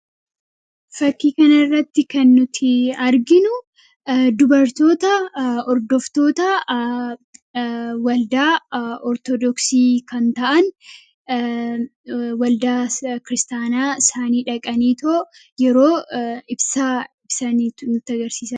Fakkii kana irratti kan nuti arginu dubartoota hordoftoota waldaa Ortodoksii kan ta'an; Waldaa kiristaanaa isaanii dhaqaniitoo yeroo ibsaa ibsan agarsisa.